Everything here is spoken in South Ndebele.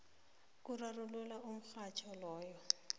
kurarulula umraro loyo